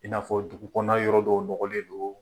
I n'afɔ dugu kɔnɔ na yɔrɔ dɔw dɔgɔ le don